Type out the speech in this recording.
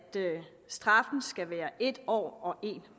straffen skal være en år og en